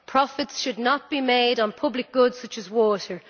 Profits should not be made on public goods such as water.